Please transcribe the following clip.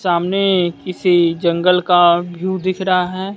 सामने किसी जंगल का व्यू दिख रहा है।